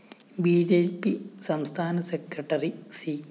B J P സംസ്ഥാന secretary C